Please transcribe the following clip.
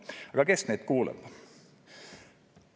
Aga kes neid kuulab?